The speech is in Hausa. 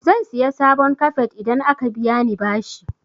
Zan siya sabon kafet idan aka biya ni bashi.